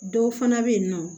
Dɔw fana bɛ yen nɔ